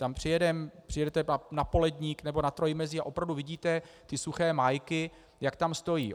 Tam přijedete na Poledník nebo na Trojmezí a opravdu vidíte ty suché májky, jak tam stojí.